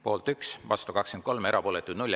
Poolt 1, vastu 23, erapooletuid 0.